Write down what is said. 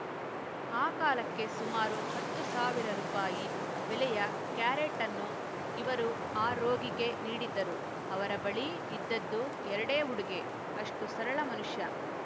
ಆ ಕಾಲಕ್ಕೆ ಸುಮಾರು ಹತ್ತು ಸಾವಿರ ರುಪಾಯಿ ಬೆಲೆಯ ಕ್ಯಾರೆಟ್‌ಅನ್ನು ಇವರು ಆ ರೋಗಿಗೆ ನೀಡಿದ್ದರು ಅವರ ಬಳಿ ಇದ್ದದ್ದು ಎರಡೇ ಉಡುಗೆ ಅಷ್ಟುಸರಳ ಮನುಷ್ಯ